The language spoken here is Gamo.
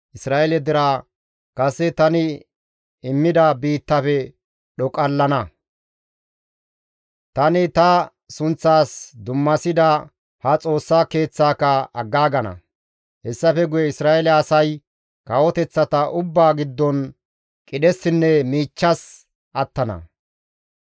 Isra7eele deraa kase tani immida biittaafe dhoqallana; tani ta sunththas dummasida ha Xoossa Keeththaaka aggaagana; hessafe guye Isra7eele asay kawoteththata ubbaa giddon qidhessinne miichchas attana.